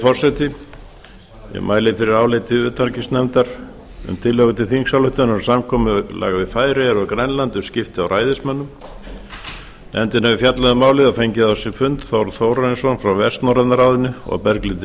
forseti ég mæli fyrir áliti utanríkismálanefndar um tillögu til þingsályktunar um samkomulag við færeyjar og grænland um skipti á ræðismönnum nefndin hefur fjallað um málið og fengið á sinn fund þórð þórarinsson frá vestnorræna ráðinu og berglindi